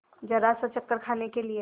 जरासा चक्कर खाने के लिए